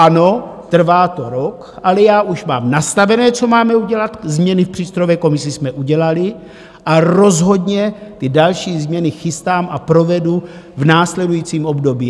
Ano, trvá to rok, ale já už mám nastavené, co máme udělat, změny v přístrojové komisi jsme udělali, a rozhodně ty další změny chystám a provedu v následujícím období.